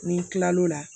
Ni n kila l'o la